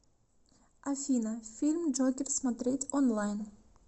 афина фильм джокер смотреть онлайн